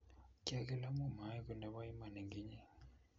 kyagil amu maegu nebo Iman eng inye